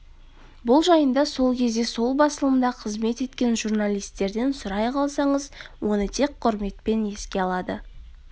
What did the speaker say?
бұл жайында сол кезде сол басылымда қызмет еткен журналистерден сұрай қалсаңыз оны тек құрметпен еске алады